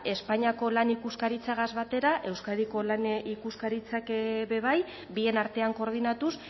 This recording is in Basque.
espainiako lan ikuskaritzarekin batera euskadiko lan ikuskaritzak be bai bien artean koordinatuz